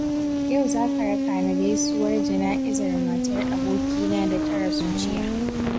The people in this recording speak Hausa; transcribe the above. Yau za ka raka ni gaisuwar jana'izar matar abokina da ta rasu jiya.